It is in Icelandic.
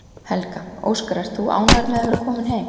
Helga: Óskar, ert þú ánægður með að vera kominn heim?